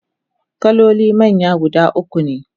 kaloli manya guda ukune